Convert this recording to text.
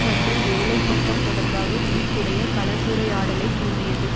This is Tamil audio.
மற்றும் வேலை திட்டம் தொடர்பாக உயிர்ப்புடைய கலந்துரையாடலைத் தூண்டியது